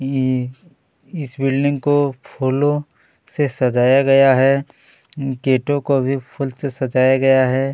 ये इस बिल्डिंग को फूलों से सजाया गया है गेट को भी फूल सजाया गया है।